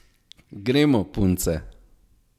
Gremo, punce!